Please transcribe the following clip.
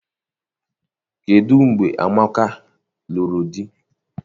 Kedụ mgbe Amaka lụrụ di?